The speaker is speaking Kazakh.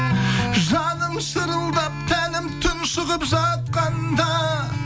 жаным шырылдап тәнім тұншығып жатқанда